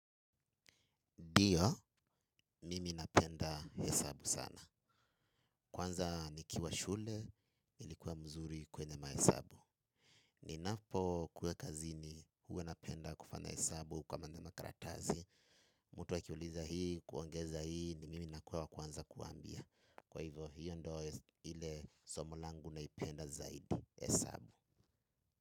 Dio, mimi napenda hesabu sana. Kwanza nikiwa shule, ilikuwa mzuri kwenye mahesabu. Ninapokuwa kazini, huwa napenda kufanya hesabu kwa maana makaratazi. Mtu akiuliza hii, kuongeza hii, ni mimi nakuwa wa kwanza kuwaambia. Kwa hivyo, hiyo ndo ile somo langu naipenda zaidi hesabu.